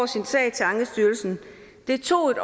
sin sag til ankestyrelsen det tog et